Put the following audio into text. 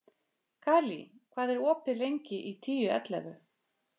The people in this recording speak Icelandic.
Kali, hvað er opið lengi í Tíu ellefu?